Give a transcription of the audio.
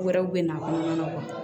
Wɛrɛw bɛ na a kɔnɔna na